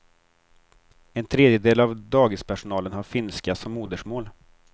En tredjedel av dagispersonalen har finska som modersmål.